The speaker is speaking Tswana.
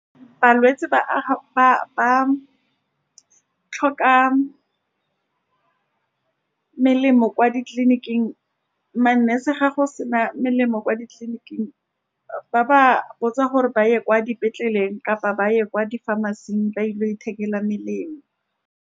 Balwetse ba ba-ba tlhoka melemo kwa ditleliniking, ma-nurse, fa go sena melemo kwa ditleliniking, ba ba botsa gore ba ye kwa dipetleleng kapa ba ye kwa di-pharmacy-ing, ba ile go ithekela melemo.